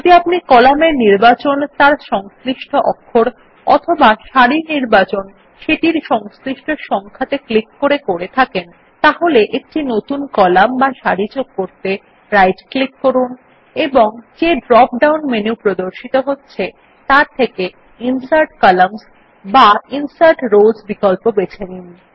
যদি আপনি কলাম এর নির্বাচন তার সংশ্লিষ্ট অক্ষর এ অথবা সারির নির্বাচন সেটির সংশ্লিষ্ট সংখ্যাত়ে ক্লিক করে করে থাকেন তাহলে একটি নতুন কলাম বা সারি যোগ করতে রাইট ক্লিক করুন এবং যে ড্রপ ডাউন মেনু প্রদর্শিত হচ্ছে তার থেকে ইনসার্ট কলাম্নস বা ইনসার্ট রোস বিকল্প বেছে নিন